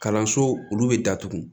Kalanso olu bɛ datugu